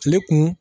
Tile kun